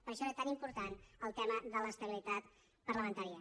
per això era tan important el tema de l’estabilitat parlamentària